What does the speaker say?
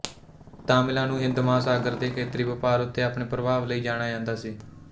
ਤਾਮਿਲਾਂ ਨੂੰ ਹਿੰਦ ਮਹਾਂਸਾਗਰ ਦੇ ਖੇਤਰੀ ਵਪਾਰ ਉੱਤੇ ਆਪਣੇ ਪ੍ਰਭਾਵ ਲਈ ਜਾਣਿਆ ਜਾਂਦਾ ਸੀ